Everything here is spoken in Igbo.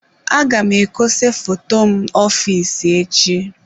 Aga m ekose foto m ọfịs echi.